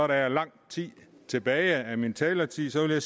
der er lang tid tilbage af min taletid at